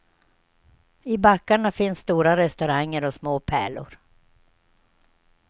I backarna finns stora restauranger och små pärlor.